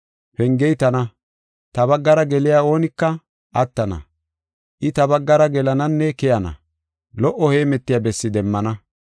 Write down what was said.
Pengey tana; ta baggara geliya oonika attana. I ta baggara gelananne keyana; lo77o heemetiya bessi demmana.